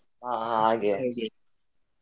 ಹಾ ಹಾ ಹಾಗೆ ಹಾಗೆ.